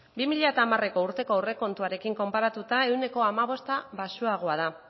bi mila hamareko urteko aurrekontuarekin konparatuta ehuneko hamabost baxuagoa da